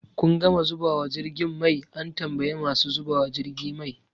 Kun gama zubawa jirgin mai? an tambayi masu zubawa jirgi mai